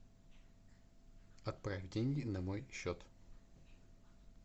отправь деньги на мой счет